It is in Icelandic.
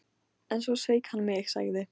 En svo sveik hann mig, sagði